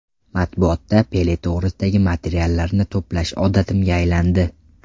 Matbuotda Pele to‘g‘risidagi materiallarni to‘plash odatimga aylandi.